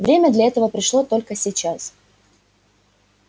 время для этого пришло только сейчас